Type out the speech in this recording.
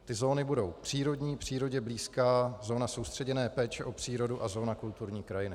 Ty zóny budou: přírodní, přírodě blízká, zóna soustředěné péče o přírodu a zóna kulturní krajiny.